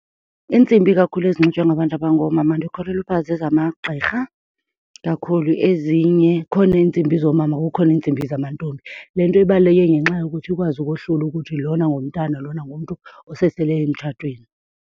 Iintsimbi kakhulu ezinxitywa ngabantu abangoomama ndikholelwa uba zezamagqirha kakhulu. Ezinye, kukhona iintsimbi zoomama kukhona iintsimbi zamantombi. Le nto ibaluleke ngenxa yokuthi ikwazi ukohlula ukuthi lona ngumntana lona ngumntu osesele emtshatweni.